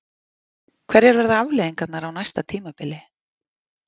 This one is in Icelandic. Hverjar verða afleiðingarnar á næsta tímabili?